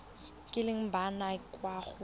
kileng ba nna kwa go